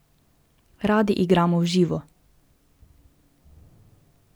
Radi igramo v živo.